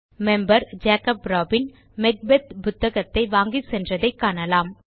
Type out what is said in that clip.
member Jacob Robin Macbeth புத்தகத்தை வாங்கிச்சென்றதை காணலாம்